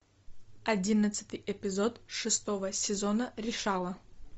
одиннадцатый эпизод шестого сезона решала